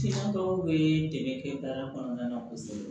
Siyan dɔw bɛ dɛmɛ kɛ baara kɔnɔna na kosɛbɛ